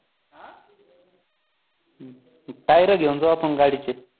tire घेऊन जाऊ आपण गाडीचे